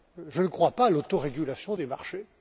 Je ne crois pas à l'autorégulation des marchés.